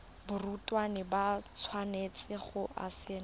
barutwana ba tshwanetse go saena